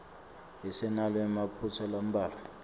isenawo emaphutsa lambalwa